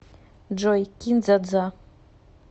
джой кин дза дза